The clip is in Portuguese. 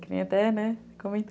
Que nem até, né,